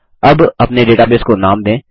अब अपने डेटाबेस को नाम दें